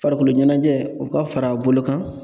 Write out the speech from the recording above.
Farikolo ɲɛnajɛ, o ka fara a bolo kan